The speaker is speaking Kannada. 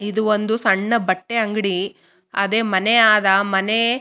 ಇದು ಒಂದು ಸಣ್ಣ ಬಟ್ಟೆ ಅಂಗಡಿ ಅದೆ ಮನೆ ಆದ ಮನೆ--